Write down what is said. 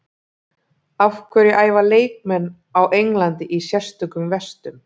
Af hverju æfa leikmenn á Englandi í sérstökum vestum?